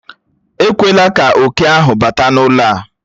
Ekwela ka oke ahụ bata n'ụlọ a!